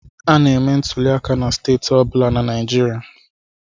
A na-eme ntuliaka na steeti ọ bụla na Naịjirịa.